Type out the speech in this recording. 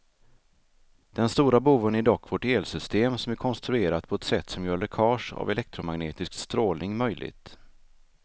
Den stora boven är dock vårt elsystem som är konstruerat på ett sätt som gör läckage av elektromagnetisk strålning möjligt.